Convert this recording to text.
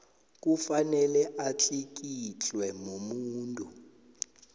kufanele atlikitlwe mumuntu